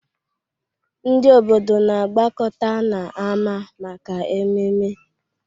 Ndị obodo na-agbakọta n'ámá maka ememe.